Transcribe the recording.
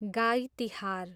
गाई तिहार